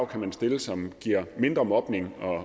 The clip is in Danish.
kan stille som giver mindre mobning